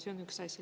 See on üks asi.